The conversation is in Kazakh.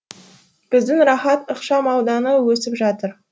біздің рахат ықшам ауданы өсіп жатыр